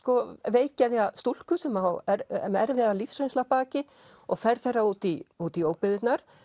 veikgeðja stúlku sem er með erfiða lífsreynslu að baki og ferð þeirra út í út í óbyggðirnar